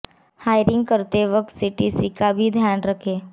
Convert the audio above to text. hiring करते वक्त CTC का भी ध्यान जरूर रखें